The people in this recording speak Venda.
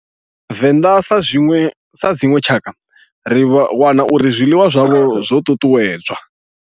Venḓa sa dzinwe tshakha ri wana uri zwiḽiwa zwavho zwo tutuwedzwa.